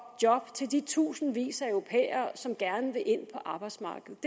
job til de tusindvis af europæere som gerne vil ind på arbejdsmarkedet